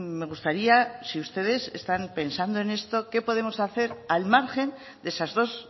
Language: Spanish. me gustaría si ustedes están pensando en esto qué podemos hacer al margen de esas dos